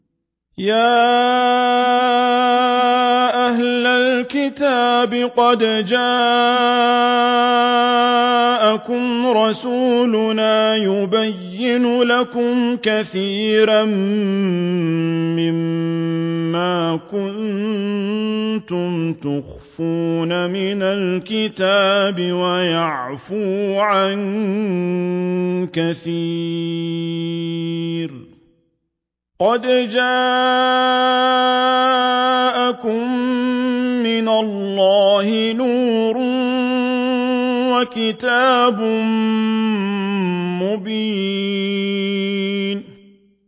يَا أَهْلَ الْكِتَابِ قَدْ جَاءَكُمْ رَسُولُنَا يُبَيِّنُ لَكُمْ كَثِيرًا مِّمَّا كُنتُمْ تُخْفُونَ مِنَ الْكِتَابِ وَيَعْفُو عَن كَثِيرٍ ۚ قَدْ جَاءَكُم مِّنَ اللَّهِ نُورٌ وَكِتَابٌ مُّبِينٌ